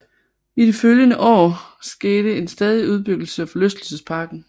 I de følgende år skete en stadig udbyggelse af forlystelsesparken